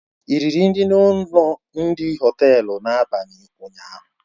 Ị riri nri na ụlọ oriri Họtelu n'abalị ụnyaahụ